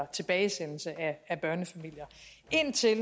tilbagesendelse af børnefamilier indtil